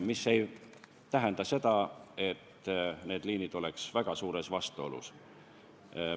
See ei tähenda seda, et need liinid oleksid väga suures vastuolus.